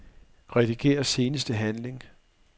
Rediger seneste handling.